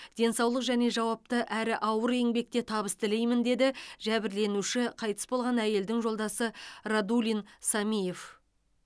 денсаулық және жауапты әрі ауыр еңбекте табыс тілеймін деді жәбірленуші қайтыс болған әйелдің жолдасы радулин самиев